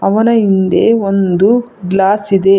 ಅವನ ಹಿಂದೆ ಒಂದು ಗ್ಲಾಸ್ ಇದೆ.